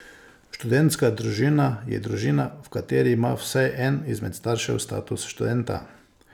Študentska družina je družina, v kateri ima vsaj en izmed staršev status študenta.